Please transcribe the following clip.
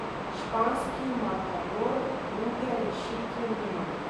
Španski matador druge rešitve nima.